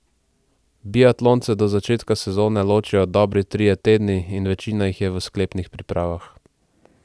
Biatlonce do začetka sezone ločijo dobri trije tedni in večina jih je v sklepnih pripravah.